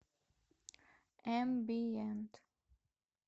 эмбиент